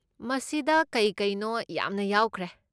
ꯃꯁꯤꯗ ꯀꯩ ꯀꯩꯅꯣ ꯌꯥꯝꯅ ꯌꯥꯎꯈ꯭ꯔꯦ꯫